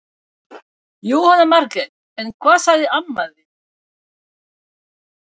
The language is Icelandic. Jóhanna Margrét: En hvað sagði amma þín?